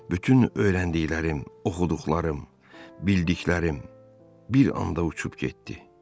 Bütün öyrəndiklərim, oxuduqlarım, bildiklərim bir anda uçub getdi.